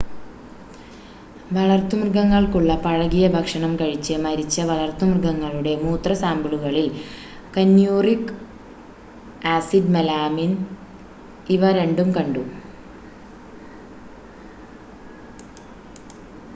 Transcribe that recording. വളർത്തു മൃഗങ്ങൾക്കുള്ള പഴകിയ ഭക്ഷണം കഴിച്ച് മരിച്ച വളർത്തുമൃഗങ്ങളുടെ മൂത്ര സാമ്പിളുകളിൽ ക്യനൂറിക് ആസിഡ് മെലാമിൻ ഇവ രണ്ടും കണ്ടു